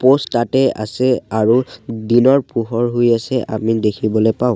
Post তাতে আছে আৰু দিনৰ পোহৰ হৈ আছে আমি দেখিবলে পাওঁ।